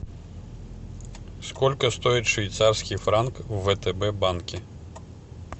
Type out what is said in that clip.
сколько стоит швейцарский франк в втб банке